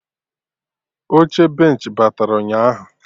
Oche benchị batara ụnyaahụ